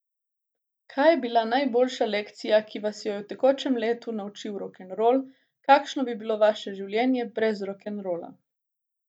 Kaj je bila najboljša lekcija, ki vas je jo tekom let naučil rokenrol, kakšno bi bilo vaše življenje brez rokenrola?